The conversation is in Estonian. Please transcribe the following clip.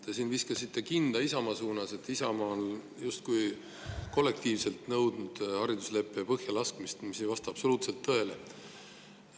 Te siin viskasite kinda Isamaa suunas, et Isamaa on justkui kollektiivselt nõudnud haridusleppe põhjalaskmist, mis ei vasta absoluutselt tõele.